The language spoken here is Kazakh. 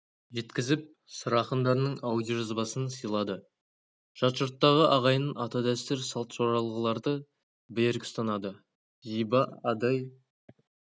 жеткізіп сыр ақындарының аудиожазбасын сыйлады жат жұрттағы ағайын ата-дәстүр салт жоралғыларды берік ұстанады зиба адай